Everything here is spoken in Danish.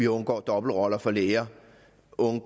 undgår dobbeltroller for læger